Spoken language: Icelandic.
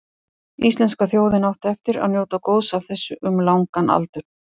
Íslenska þjóðin átti eftir að njóta góðs af þessu um langan aldur.